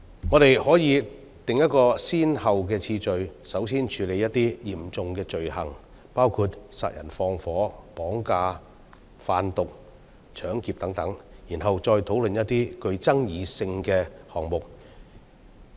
我們可以訂立先後次序，先處理一些嚴重罪行，包括殺人放火、綁架、販毒、搶劫等，然後再討論一些具爭議性的項目。